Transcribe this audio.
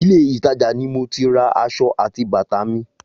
Ilé ìtajà ni mo ti ra aṣọ àti bàtà mi